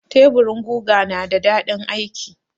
Teburin guga na da daɗin aiki.